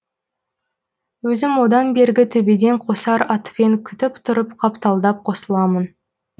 өзім одан бергі төбеден қосар атпен күтіп тұрып қапталдап қосыламын